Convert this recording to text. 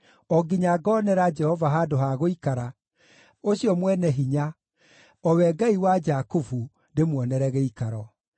o nginya ngoonera Jehova handũ ha gũikara, ũcio Mwene-Hinya, o we Ngai wa Jakubu, ndĩmuonere gĩikaro.”